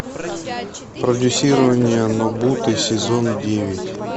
продюсирование нобуты сезон девять